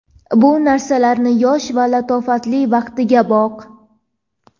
Bu narsalarning yosh va latofatli vaqtiga boq.